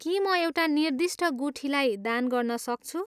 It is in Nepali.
के म एउटा निर्दिष्ट गुठीलाई दान गर्न सक्छु?